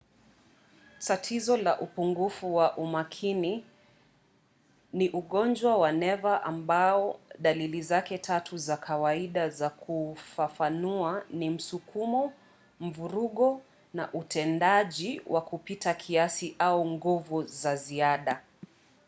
tatizo la upungufu wa umakini ni ugonjwa wa neva ambao dalili zake tatu za kawaida za kuufafanua ni msukumo mvurugo na utendaji wa kupita kiasi au nguvu za ziada.